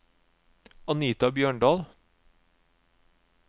Anita Bjørndal